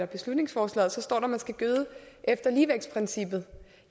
beslutningsforslaget så står der at man skal gøde efter ligevægtsprincippet